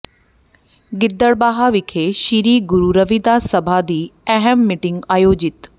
ਗਿੱਦੜਬਾਹਾ ਵਿਖੇ ਸ੍ਰੀ ਗੁਰੂ ਰਵੀਦਾਸ ਸਭਾ ਦੀ ਅਹਿਮ ਮੀਟਿੰਗ ਆਯੋਜਿਤ